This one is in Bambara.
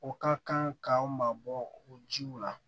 O ka kan ka mabɔ o jiw la